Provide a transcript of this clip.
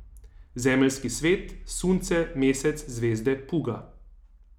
Zemeljski svet, sunce, mesec, zvezde, puga.